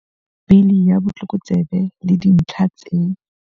Bili ya Botlokotsebe le Dintlha tse